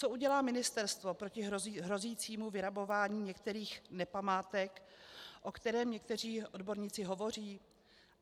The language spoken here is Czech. Co udělá ministerstvo proti hrozícímu vyrabování některých nepamátek, o kterém někteří odborníci hovoří?